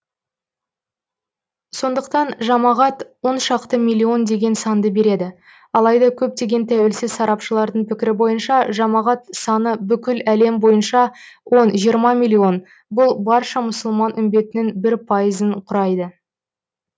сондықтан жамағат оншақты миллион деген санды береді алайда көптеген тәуелсіз сарапшылардың пікірі бойынша жамағат саны бүкіләлем бойынша он жиырма миллион бұл барша мұсылман үмбетінің бір пайызын құрайды